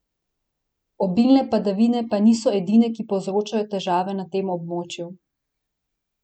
Obilne padavine pa niso edine, ki povzročajo težave na tem območju.